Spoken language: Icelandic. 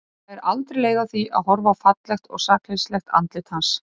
Hún fær aldrei leið á því að horfa á fallegt og sakleysislegt andlit hans.